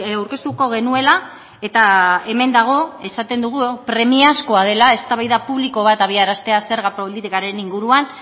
aurkeztuko genuela eta hemen dago esaten dugu premiazkoa dela eztabaida publiko bat abiaraztea zerga politikaren inguruan